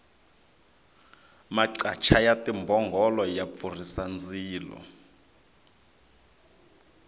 maqacha ya timbhongolo ya pfurhisa ndzilo